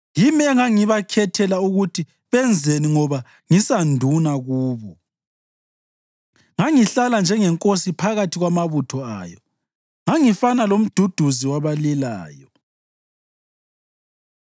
Yimi engangibakhethela ukuthi benzeni ngoba ngisanduna kubo; ngangihlala njengenkosi phakathi kwamabutho ayo; ngangifana lomduduzi wabalilayo.”